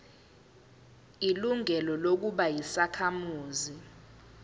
ilungelo lokuba yisakhamuzi